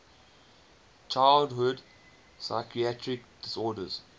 childhood psychiatric disorders